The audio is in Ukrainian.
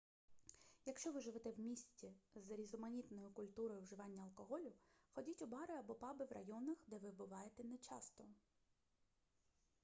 якщо ви живете в місті з різноманітною культурою вживання алкоголю ходіть у бари або паби в районах де ви буваєте не часто